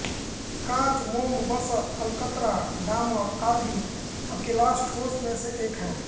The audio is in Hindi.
काँच मोम वसा अलकतरा डामर आदि अकेलास ठोस में से हैं